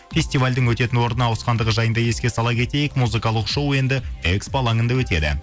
фестивальдің өтетін орны ауысқандығы жайында еске сала кетейік музыкалық шоу енді экспо алаңында өтеді